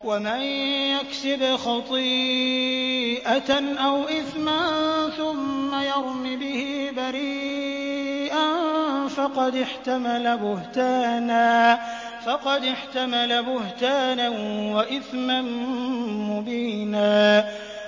وَمَن يَكْسِبْ خَطِيئَةً أَوْ إِثْمًا ثُمَّ يَرْمِ بِهِ بَرِيئًا فَقَدِ احْتَمَلَ بُهْتَانًا وَإِثْمًا مُّبِينًا